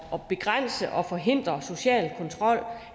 at begrænse og forhindre social kontrol